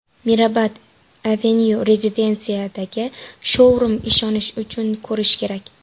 Mirabad Avenue rezidensiyasidagi shou-rum: Ishonish uchun ko‘rish kerak!.